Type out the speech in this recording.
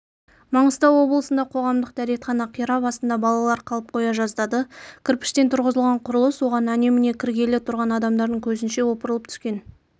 маңғыстау облысында қоғамдық дәретхана қирап астында балалар қалып қоя жаздады кірпіштен тұрғызылған құрылыс оған әне-міне кіргелі тұрған адамдардың көзінше опырылып түскен